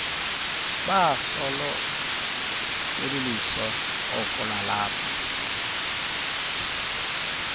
basolo belilisoko lalapha